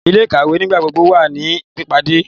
Ile-ikawe nigbagbogbo wa ni pipade